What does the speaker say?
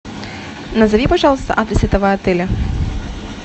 назови пожалуйста адрес этого отеля